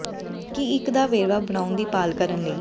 ਕੀ ਇੱਕ ਦਾ ਵੇਰਵਾ ਬਣਾਉਣ ਦੀ ਭਾਲ ਕਰਨ ਲਈ